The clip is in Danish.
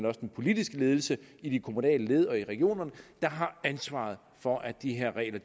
og den politiske ledelse i de kommunale led og i regionerne der har ansvaret for at de her regler